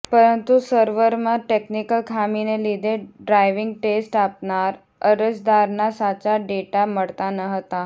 પરતું સર્વરમાં ટેકનીકલ ખામીને લીધે ડ્રાઇવીંગ ટેસ્ટ આપનાર અરજદારના સાચા ડેટા મળતા ન હતા